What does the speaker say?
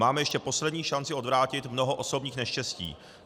Máme ještě poslední šanci odvrátit mnoho osobních neštěstí.